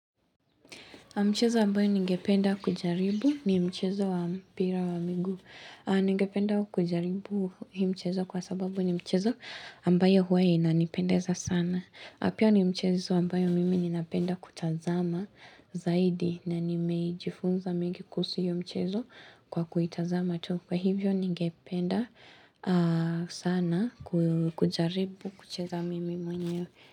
Mchezo ambayo ningependa kujaribu ni mchezo wa mpira wa miguu. Ningependa kujaribu hii mchezo kwa sababu ni mchezo ambayo huwe inanipendeza sana. Na pia ni mchezo ambayo mimi ninapenda kutazama zaidi na nimejifunza mingi kuhusu hiyo mchezo kwa kuitazama tu. Kwa hivyo ningependa sana kujaribu kucheza mimi mwenye.